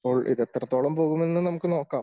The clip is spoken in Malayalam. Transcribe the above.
ഇത് എത്രത്തോളം പോകും എന്ന് നമുക്ക് നോക്കാം